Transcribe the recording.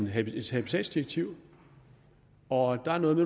habitatdirektiv og der er noget